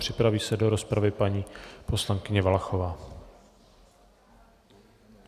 Připraví se do rozpravy paní poslankyně Valachová.